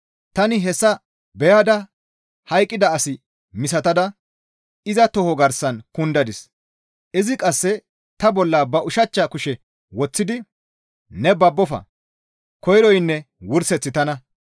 Tani hessa beyada hayqqida as misatada iza toho garsan kundadis; izi qasse ta bolla ba ushachcha kushe woththidi, «Ne babbofa! Koyroynne wurseththi tana.